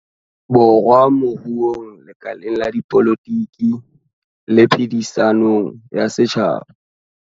Borwa moruong, lekaleng la dipolotiki le phedi-sanong ya setjhaba.